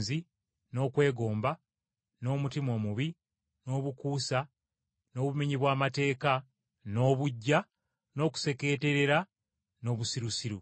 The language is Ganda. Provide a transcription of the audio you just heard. n’okwegomba, n’omutima omubi, n’obukuusa, n’obumenyi bw’amateeka, n’obuggya, n’okusekeeterera, n’obusirusiru.